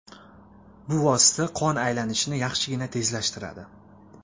Bu vosita qon aylanishini yaxshigina tezlashtiradi.